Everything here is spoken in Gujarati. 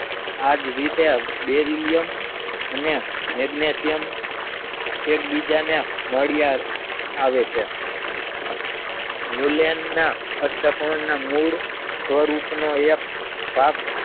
આજ રીતે બેરિલિયમ અને મેગ્નશિયમ એકબીજાને મોડિયા આવે છે ન્યુલેનના કષ્ટકના મુલ્ડ સ્વરૂપનો ભાગ